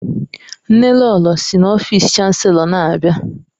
Nnelolo si n'ọfịs Chanselọ na-abịa.